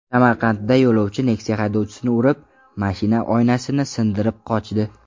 Samarqandda yo‘lovchi Nexia haydovchisini urib, mashina oynasini sindirib qochdi.